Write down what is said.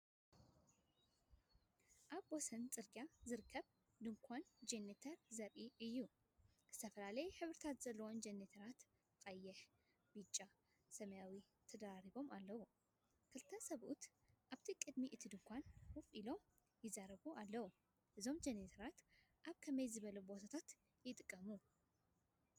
ኣብ ወሰን ጽርግያ ዝርከብ ድኳን ጀነሬተር ዘርኢ እዩ። ዝተፈላለየ ሕብሪ ዘለዎም ጀነሬተራት - ቀይሕ፡ ብጫ፡ ሰማያዊ - ተደራሪቦም ኣለዉ። ክልተ ሰብኡት ኣብ ቅድሚ እቲ ድኳን ኮፍ ኢሎም ይዛረቡ ኣለዉ፡፡ እዞም ጀነሬተራት ኣብ ከመይ ዝበለ ቦታታት ይጥቀሙ?